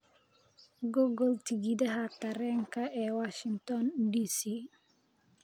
google tigidhada tareenka ee washington d. c.